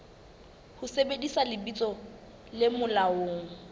ho sebedisa lebitso le molaong